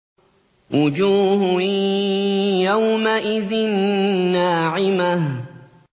وُجُوهٌ يَوْمَئِذٍ نَّاعِمَةٌ